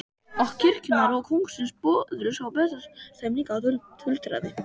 Og kirkjunnar og kóngsins böðuls á Bessastöðum líka, tuldraði